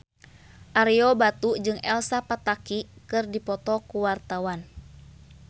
Ario Batu jeung Elsa Pataky keur dipoto ku wartawan